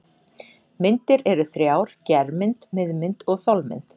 Myndir eru þrjár: germynd, miðmynd og þolmynd.